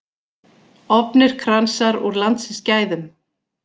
Ofnir kransar úr landsins gæðum